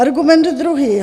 Argument druhý.